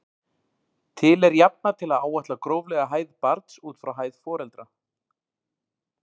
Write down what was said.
Til er jafna til að áætla gróflega hæð barns út frá hæð foreldra.